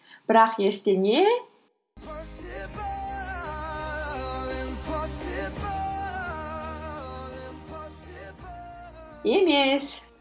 бірақ ештеңе емес